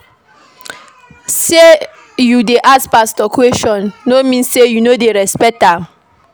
Sey you dey ask pastor question no mean sey you no dey respect am.